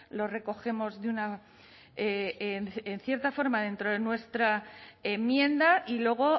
lo recogemos de una en cierta forma dentro de nuestra enmienda y luego